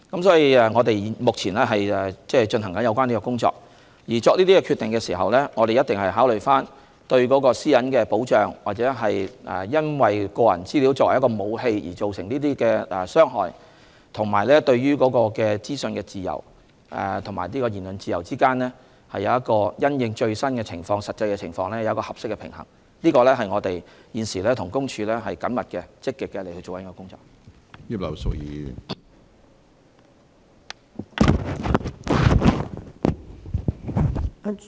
所以，我們目前正進行有關工作，而在作出決定時，必定會考慮在保障私隱，或因個人資料被用作武器而造成的傷害，以及保障資訊自由和言論自由之間，如何能因應最新實際情況取得適當平衡，這是我們現時正與公署緊密和積極進行的工作。